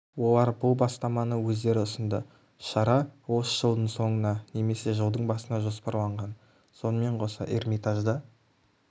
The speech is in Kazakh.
олар бұл бастаманы өздері ұсынды шара осы жылдың соңына немесе жылдың басына жоспарланған сонымен қоса эрмитажда